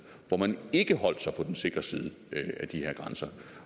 hvor man ikke holdt sig på den sikre side af de her grænser